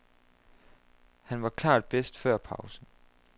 Han var klart bedst før pausen.